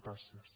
gràcies